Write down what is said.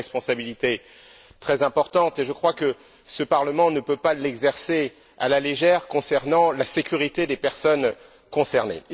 C'est une responsabilité très importante, et je crois que ce Parlement ne peut pas l'exercer à la légère, s'agissant de la sécurité des personnes concernées.